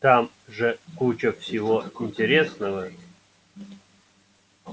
там же куча всего интересного